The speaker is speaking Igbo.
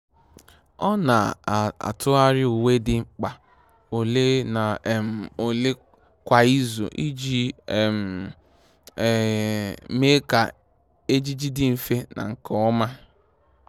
Ọ́ nà-átụ́gharị uwe dị mkpa ole na um ole kwa ìzù iji um um mee kà ejiji dị mfe na nke ọma.